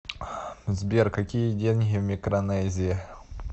сбер какие деньги в микронезии